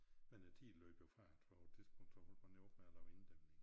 Men æ tid løb jo fra ham for på et tidspunkt så holdt man jo op med at lave inddæmninger